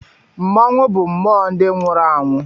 Mmọnwụ bụ mmụọ ndị nwụrụ anwụ